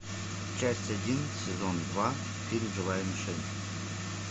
часть один сезон два фильм живая мишень